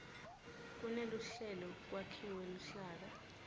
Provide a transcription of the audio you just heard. kuneluhlelo kwakhiwe luhlaka